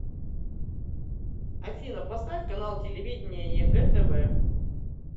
афина поставь канал телевидения егэ тв